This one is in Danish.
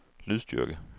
lydstyrke